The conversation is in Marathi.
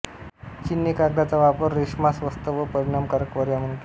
चीनने कागदाचा वापर रेशमास स्वस्त व परिणामकारक पर्याय म्हणून केला